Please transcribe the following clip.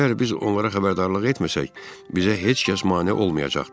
Əgər biz onlara xəbərdarlıq etməsək, bizə heç kəs mane olmayacaqdır.